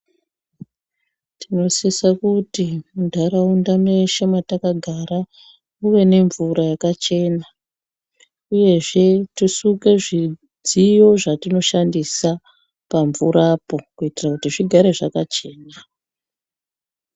Tinosisa kuti muntaraunda mweshe mwatakagara kuve nemvura yakachena uyezve tisuke zvidziyo zvatinoshandisa pamvurapo kuitira kuti zvigare zvakachena.